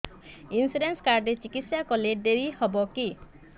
insurance card ରେ ଚିକିତ୍ସା କଲେ ଡେରି ହବକି